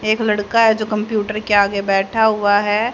एक लड़का हैं जो कंप्यूटर के आगे बैठा हुआ हैं।